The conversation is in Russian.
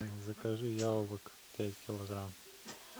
закажи яблок пять килограмм